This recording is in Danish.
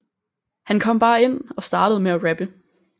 Han kom bare ind og startede med at rappe